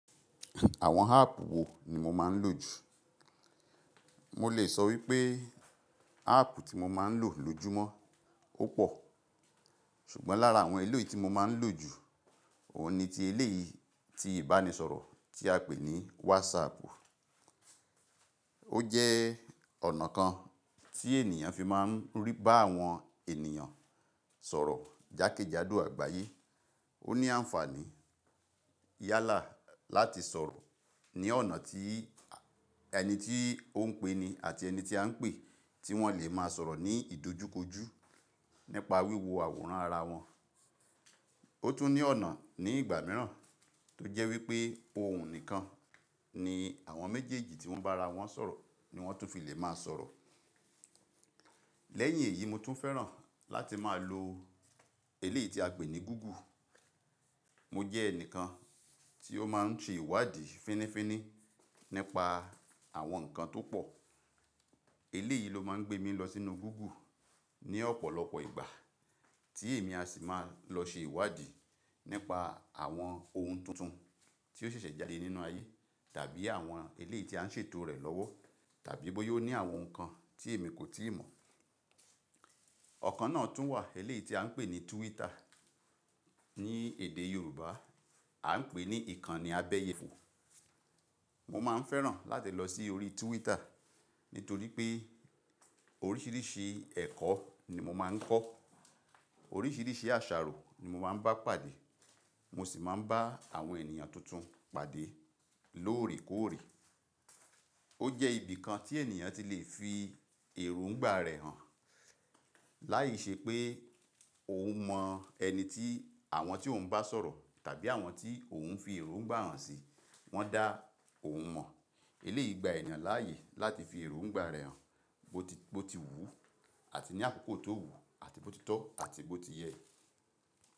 Àwọn háàpù wo ni mo máa ń lò jù? Mo lè sọ wípé háàpù tí mo máa ń lò lójúmọ́ ó pò, ṣùgbọ́n lára àwọn eléyìí tí mo máa ń lò jù, òhun ni ti eléyìí tí ìbánisọ̀rọ̀ tí a pè ní wásààpù. Ó jẹ́ ọ̀nà kan tí ènìyàn fi máa ń rí bá àwọn ènìyàn sọ̀rọ̀ jákèjádò àgbáyé. Ó ní àǹfààní yálà láti sọ̀rọ̀ ní ọ̀nà tí ẹni tí ó ń pe ni àti ẹni tí a ń pè tí wọ́n lè máa sọ̀rọ̀ ní ìdojúkojú nípa wíwo àwòrán ara wọn. Ó tún ní ọ̀nà ní ìgbà mìíràn tó jẹ́ wípé òhun nìkan ni àwọn méjèèjì tí wọ́n bá ra wọ́n sọ̀rọ̀ ni wọ́n tún fi lè máa sọ̀rọ̀. Lẹ́yìn èyí mo tún fẹ́ràn láti máa lo eléyìí tí a pè ní gúgù. Mo jẹ́ ẹnìkan tí ó máa ń tì ìwádìí fínifíní nípa àwọn nǹkan tó pọ̀. Eléyìí ló máa ń gbé mi lọ sínú gúgù ní ọ̀pọ̀lọpọ̀ ìgbà tí èmi a sì máa lọ ṣe ìwádìí nípa àwọn ohun tuntun tí ó ṣẹ̀ṣẹ̀ jáde nínú ayé tàbí àwọn eléyìí tí a ń ṣètò rẹ̀ lọ́wọ́ tàbí bóyó ní àwọn nǹkan tí èmi kò tíì mọ̀. Ọ̀kan náà tún wà eléyìí tí a ń pè ní túwítà. Ní èdè Yorùbá a ń pè ní ìkànnì abẹ́yè. Mo máa ń fẹ́ràn láti lọ sí orí túwítà nítorí pé oríṣìíríṣìí ẹ̀kọ́ ni mo máa ń kọ́, oríṣìíríṣìí àṣàrò ni mo máa ń bá pàdé, mo sì máa ń bá àwọn ènìyàn tuntun pàdé lóòrèkóòrè. Ó jẹ́ ibìkan tí ènìyàn ti lè fi èróńgbà rẹ̀ hàn láìṣe pé òun mọ ẹni tí àwọn tí òun bá sọ̀rọ̀ tàbí àwọn tí òun fi èróńgbà hàn si wọ́n dá òun mọ̀. Eléyìí gba ènìyàn láàyè láti fi èróńgbà rẹ̀ hàn bó ti wù ú àti ní àkókò tó wù àti bó ti tọ́ àti bó ti yẹ.